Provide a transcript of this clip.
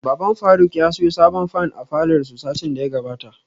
Baban faruk ya siyo sabon fan a falor su satin daya gabata